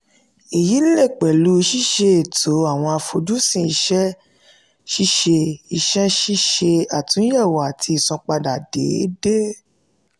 èyí lè pẹ̀lú ṣíṣe ètò awọn àfojúsùn iṣẹ́ ṣíṣe iṣẹ́ ṣíṣe àtúnyẹ̀wò àti ìsanpadà déédéé.